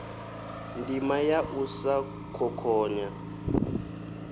ndima ya u sa khokhonya